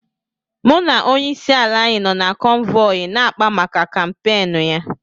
Mụ na onyeisi ala anyị nọ na kọ́nvọyi ya na akpá maka kàmpéénu ya